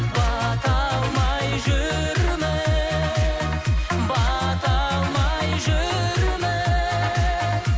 бата алмай жүрміз бата алмай жүрміз